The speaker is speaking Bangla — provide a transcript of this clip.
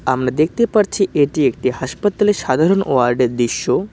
আমরা দেখতে পারছি এটি একটি হাসপাতাল এর সাধারণ ওয়ার্ড এর দৃশ্য।